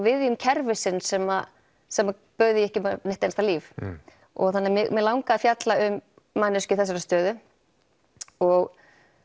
viðjum kerfisins sem sem bauð því ekki upp á neitt einasta líf þannig mig langaði að fjalla um manneskju í þessari stöðu og